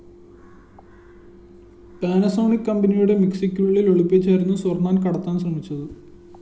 Panasonic കമ്പനിയുടെ മിക്‌സിയ്ക്കുള്ളില്‍ ഒളിപ്പിച്ചായിരുന്നു സ്വര്‍ണ്ണം കടത്താന്‍ ശ്രമിച്ചത്